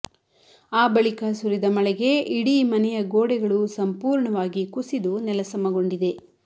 ಆ ಬಳಿಕ ಸುರಿದ ಮಳೆಗೆ ಇಡೀ ಮನೆಯ ಗೋಡೆಗಳು ಸಂಪೂರ್ಣವಾಗಿ ಕುಸಿದು ನೆಲಸಮಗೊಂಡಿದೆ